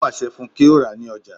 Ó pàṣẹ fún un kí ó rà ní Ọjà